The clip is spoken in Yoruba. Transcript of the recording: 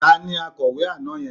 Ta ni akawó àná yẹn?